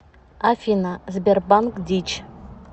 афина сбербанк дичь